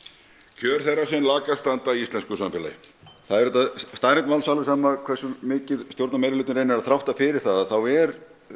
kjör þeirra sem lakast standa í íslensku samfélagi það er auðvitað staðreynd máls alveg sama hversu mikið stjórnarmeirihlutinn reynir að þrátta fyrir það þá er